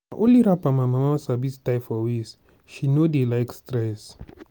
na only wrapper my mama sabi tie for waist. she no dey like stress.